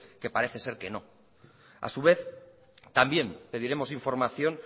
que parece ser que no a su vez también pediremos información